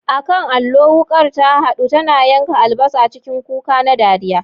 A kan allo, wukar ta huda, tana yanka albasa cikin kuka na dariya.